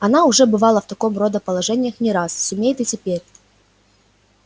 она уже бывала в такого рода положениях не раз сумеет и теперь